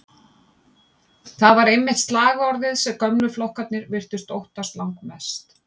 Það var einmitt slagorðið sem gömlu flokkarnir virtust óttast langmest.